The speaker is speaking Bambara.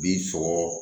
Bi sɔrɔ